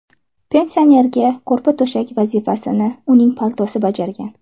Pensionerga ko‘rpa-to‘shak vazifasini uning paltosi bajargan.